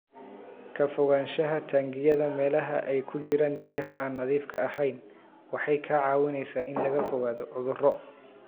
Ka fogaanshaha taangiyada meelaha ay ku jiraan biyaha aan nadiifka ahayn waxay kaa caawinaysaa in laga fogaado cudurro.